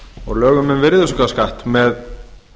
og lögum um virðisaukaskatt með